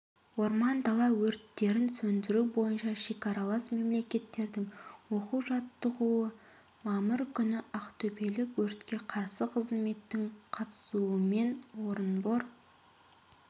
орман дала өрттерін сөндіру бойынша шекаралас мемлекеттердің оқу-жаттығуы мамыр күні ақтөбелік өртке қарсы қызметтің қатысуымен орынбор